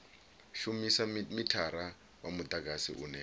shumisa mithara wa mudagasi une